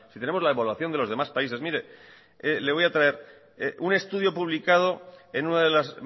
tenemos la evaluación de los demás países mire le voy a traer un estudio publicado en una de las